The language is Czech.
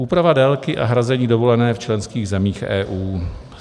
Úprava délky a hrazení dovolené v členských zemích EU.